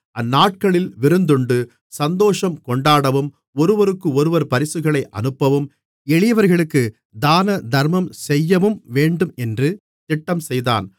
அந்நாட்களில் விருந்துண்டு சந்தோஷம்கொண்டாடவும் ஒருவருக்கொருவர் பரிசுகளை அனுப்பவும் எளியவர்களுக்குத் தானதர்மம் செய்யவும்வேண்டும் என்று திட்டம் செய்தான்